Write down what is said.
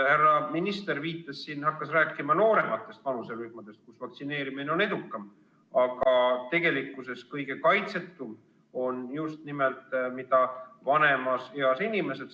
Härra minister hakkas siin rääkima noorematest vanuserühmadest, kus vaktsineerimine on edukam, aga tegelikkuses on kõige kaitsetumad just nimelt vanemas eas inimesed.